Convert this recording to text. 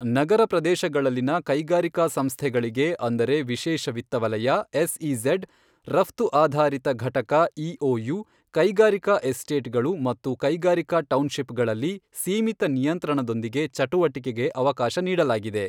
ನಗರ ಪ್ರದೇಶಗಳಲ್ಲಿನ ಕೈಗಾರಿಕಾ ಸಂಸ್ಥೆಗಳಿಗೆ ಅಂದರೆ ವಿಶೇಷ ವಿತ್ತವಲಯ ಎಸ್ಇಝೆಡ್, ರಫ್ತು ಆಧಾರಿತ ಘಟಕ ಇಒಯು, ಕೈಗಾರಿಕಾ ಎಸ್ಟೇಟ್ ಗಳು ಮತ್ತು ಕೈಗಾರಿಕಾ ಟೌನ್ ಶಿಪ್ ಗಳಲ್ಲಿ ಸೀಮಿತ ನಿಯಂತ್ರಣದೊಂದಿಗೆ ಚಟುವಟಿಕೆಗೆ ಅವಕಾಶ ನೀಡಲಾಗಿದೆ.